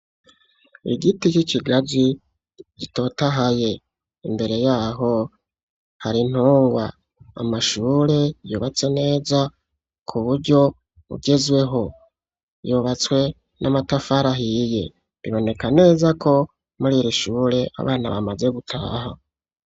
Igiti c'ikigazi gitotahaye imbere yaho hari intungwa, amashure yubatse neza ku buryo bugezweho yubatswe n'amatafara ahiye biboneka neza ko muriri shure abana bamaze gutaha.